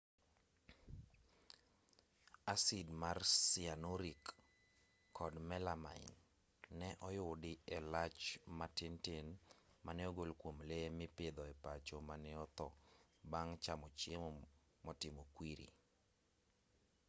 asid mar cyanuric kod melamine ne oyudi e lach ma tin tin mane ogol kwom lee mipidho e pacho mane otho bang' chamo chiemo motimo kwiri